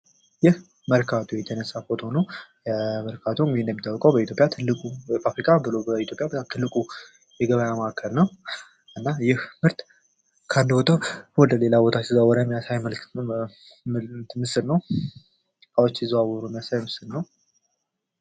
ይህ መርካቶ የተነሳ ፎቶ ነው። መርካቶ እንደሚታወቀው በኢትዮጵያ ትልቁ ብሎም በአፍሪካ ትልቁ የገበያ ማዕከል ነው። እናም ይህ ምርት ካንዱ ወቶ ወደሌላ ሲዘዋወር የሚያሳይ ምስል ነው። እቃዎች ሲዘዋወሩ የሚያሳይ ምስል ነው።